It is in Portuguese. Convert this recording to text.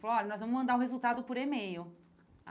Falou, olha, nós vamos mandar o resultado por e-mail.